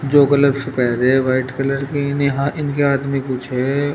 जो ग्लब्स पहने हैं व्हाइट कलर की इन्हें हा इनके हाथ में कुछ है।